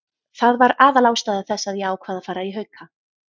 Það var aðalástæða þess að ég ákvað að fara í Hauka.